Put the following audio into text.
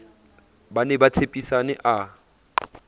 ba ne ba tshepisane a